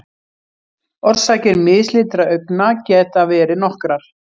Orsakir mislitra augna geta verið nokkrar.